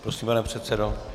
Prosím, pane předsedo.